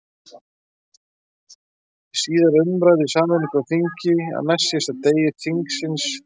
Í síðari umræðu í sameinu þingi, á næstsíðasta degi þingsins, vorið